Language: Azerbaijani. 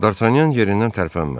Dartanyan yerindən tərpənmədi.